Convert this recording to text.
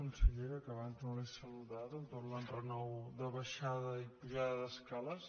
consellera que abans no l’he saludada amb tot l’enrenou de baixada i pujada d’escales